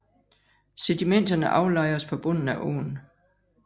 Sedimenterne aflejres på bunden af åen